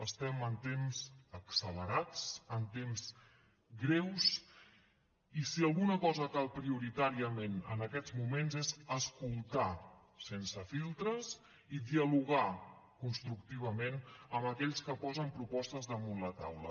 estem en temps accelerats en temps greus i si alguna cosa cal prioritàriament en aquests moments és escoltar sense filtres i dialogar constructivament amb aquells que posen propostes damunt la taula